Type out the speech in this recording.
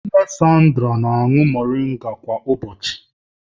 Nne Sandra na-aṅụ mmiri moringa kwa ụbọchị